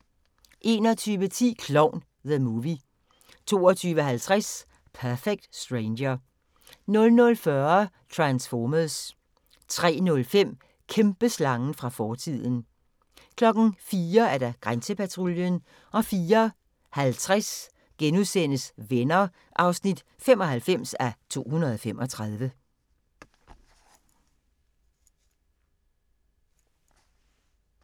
21:10: Klovn – The Movie 22:50: Perfect Stranger 00:40: Transformers 03:05: Kæmpeslangen fra fortiden 04:00: Grænsepatruljen 04:50: Venner (95:235)*